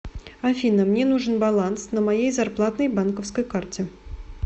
афина мне нужен баланс на моей зарплатной банковской карте